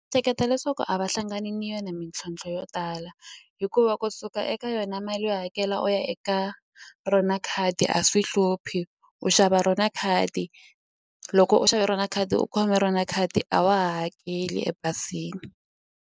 Hleketa leswaku a va hlangani ni yona mintlhontlho yo tala hikuva kusuka eka yona mali yo hakela u ya eka rona khadi a swi hluphi u xava rona khadi loko u xave rona khadi u khome rona khadi a wa ha hakeli ebazini.